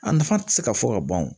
A nafa ti se ka fɔ ka ban o